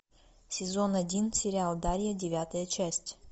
сезон один сериал дарья девятая часть